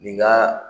Nin ga